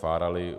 Fárali.